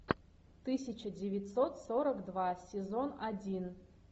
тысяча девятьсот сорок два сезон один